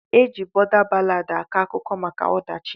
Eji bọda ballad akọ akụkọ maka ọdachi.